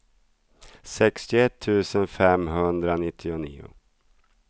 sextioett tusen femhundranittionio